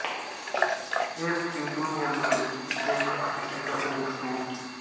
ਇਸ ਹੀਟਿੰਗ ਜੰਤਰ ਵਿੱਚ ਦਿੱਖ ਅਤੇ ਇੱਕ ਆਧੁਨਿਕ ਸੁਹਜ